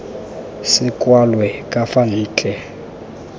se kwalwe ka fa ntle